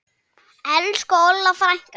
Elsku Olla frænka.